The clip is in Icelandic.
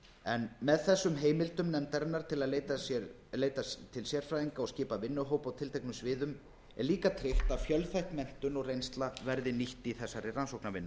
en með þessum heimildum nefndarinnar um að leita til sérfræðinga og skipa vinnuhópa á tilteknum sviðum er líka tryggt að fjölþætt menntun og reynsla verði nýtt í þessari rannsóknarvinnu